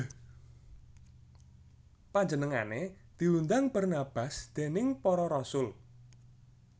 Panjenengané diundang Barnabas déning para rasul